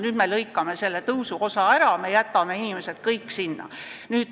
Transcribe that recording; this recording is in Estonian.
Nüüd me lõikame selle tõusuosa ära ja jätame kõik inimesed vaesusesse.